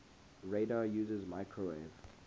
radar uses microwave